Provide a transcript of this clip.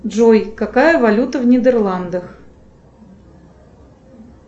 джой какая валюта в нидерландах